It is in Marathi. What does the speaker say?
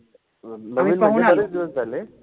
नवीन म्हणजे बरेच दिवस झाले.